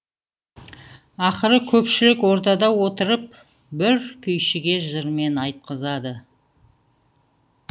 ақыры көпшілік ордада отырып бір күйшіге жырмен айтқызады